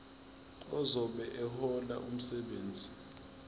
ozobe ehlola umsebenzi